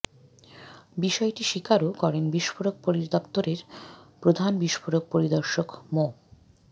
বিষয়টি স্বীকারও করেন বিস্ফোরক পরিদপ্তরের প্রধান বিস্ফোরক পরিদর্শক মো